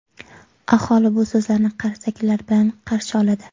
Aholi bu so‘zlarni qarsaklar bilan qarshi oladi.